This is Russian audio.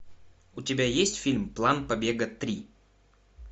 у тебя есть фильм план побега три